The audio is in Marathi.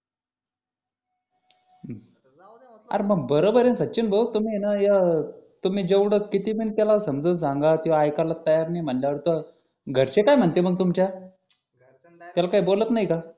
अरे मग बरोबर आहे ना सचिन भाऊ तुम्ही या तुम्ही जेवढं किती पण त्याला समजावून सांगा तो ऐकायला तयार नाही म्हटल्यावर तर घरचे काय म्हणतील मग तुमच्या त्याला काही बोलत नाही का